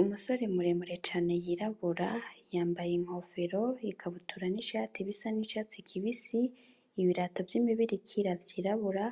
Umusore muremure cane yirabura yambaye inkofero ikabutura nishati bisa nicatsi kibisi ibirato vy'imibirikira vyirabura